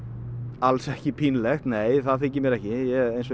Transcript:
alls ekki pínlegt það þykir mér ekki